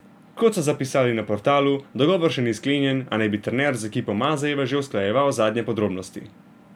Kot so zapisali na portalu, dogovor še ni sklenjen, a naj bi trener z ekipo Mazejeve že usklajeval zadnje podrobnosti.